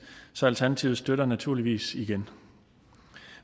så alternativet støtter det naturligvis igen